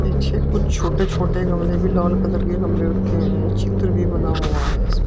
पीछे कुछ छोटे छोटे गमले भी लाल कलर के गमले रखे हैं चित्र भी बना हुआ है इस--